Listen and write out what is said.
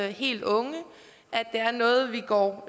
helt unge og